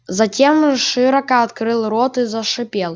затем широко открыл рот и зашипел